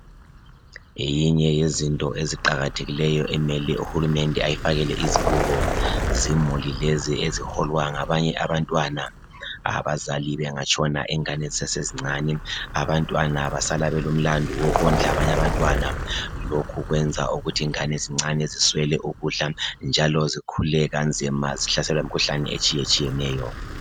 Eyinye yezinto eziqakathekileyo emele uhulumende ayifakele izibuko, zimuli lezi eziholwa ngabanye abantwana abazali bengatshona ingane zisesezincane. Abantwana basala belomlandu wokondla abanyabantwana. Lokhu kwenza ukuthi ingane zincane ziswele ukudla njalo zikhule kanzima, zihlaselwa yimkhuhlane etshiyatshiyeneyo.